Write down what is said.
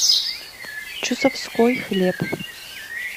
чусовской хлеб